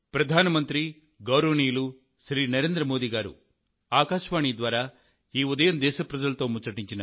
ప్రియమైన నా దేశ వాసులారా